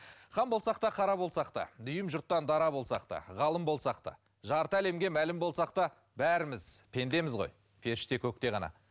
хан болсақ та қара болсақ та дүйім жұрттан дара болсақ та ғалым болсақ та жарты әлемге мәлім болсақ та бәріміз пендеміз ғой періште көкте ғана